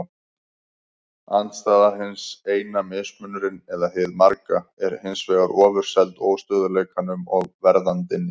Andstæða hins eina, mismunurinn eða hið marga, er hins vegar ofurseld óstöðugleikanum og verðandinni.